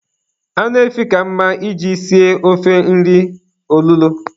Anụ efi ka mma I ji sie ofe nri olulo.